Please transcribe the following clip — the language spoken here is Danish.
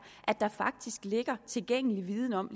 at der faktisk ligger tilgængelig viden om